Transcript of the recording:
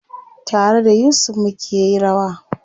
Tare da Yusuf mukeyi rawa.